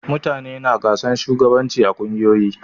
Mutane na gasan shugabanci a ƙungiyoyi.